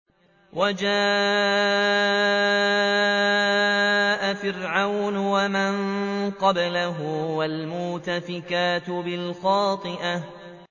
وَجَاءَ فِرْعَوْنُ وَمَن قَبْلَهُ وَالْمُؤْتَفِكَاتُ بِالْخَاطِئَةِ